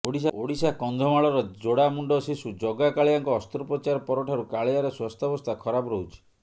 ଓଡିଶା କନ୍ଧମାଳର ଯୋଡାମୁଣ୍ଡ ଶିଶୁ ଜଗା କାଳିଆଙ୍କ ଅସ୍ତ୍ରୋପ୍ରଚାର ପରଠାରୁ କାଳିଆର ସ୍ବାସ୍ଥ୍ୟବସ୍ଥା ଖରାପ ରହୁଛି